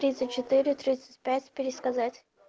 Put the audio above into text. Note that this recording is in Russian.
тридцать четыре тридцать пять пересказать